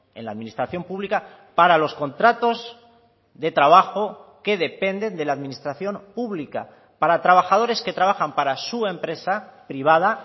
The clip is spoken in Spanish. en la administración pública para los contratos de trabajo que dependen de la administración pública para trabajadores que trabajan para su empresa privada